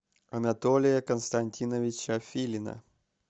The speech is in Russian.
анатолия константиновича филина